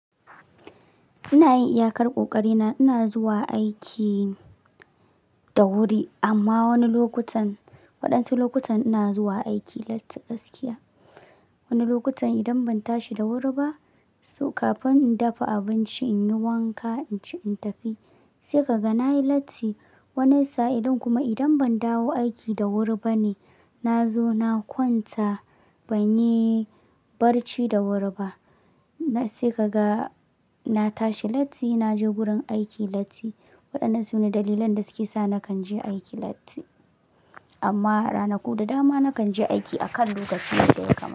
Ina yin iyakar kokari na ina zuwa aiki da wuri amma wani lokutan waɗansu lokutan ina zuwa aiki latti gaskiya. Wani lokutan idan ban tashi da wuri ba, so kafin in dafa abinci in yi wanka, in ci in tafi sai kaga na yi latti. Wani sa'ilin kuma idan ban dawo aiki da wuri ba ne, na zo na kwanta, ban yi barci da wuri ba sai kaga na tashi latti na je wurin aiki latti. Waɗannan su ne dalilan da suke sa nakan je aiki latti. Amma ranaku da dama nakan je aiki a kan lokaci yadda ya kamata.